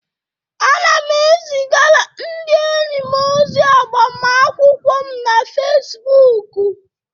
Ana m ezigara ndị enyi m ozi agbamakwụkwọ m na Fesibuuku.